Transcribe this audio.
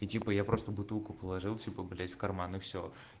и типа я просто бутылку положил типа блять в карман и все